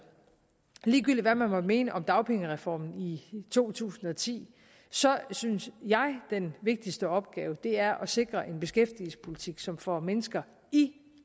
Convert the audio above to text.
ligegyldigt hvad man måtte mene om dagpengereformen i to tusind og ti synes jeg den vigtigste opgave er at sikre en beskæftigelsespolitik som får mennesker i